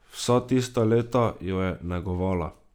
Vsa tista leta jo je negovala.